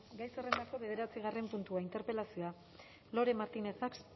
gai zerrendako bederatzigarren puntua interpelazioa lore martinez